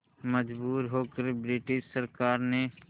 मजबूर होकर ब्रिटिश सरकार ने